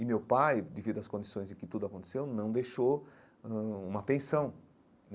E meu pai, devido às condições em que tudo aconteceu, não deixou ãh uma pensão.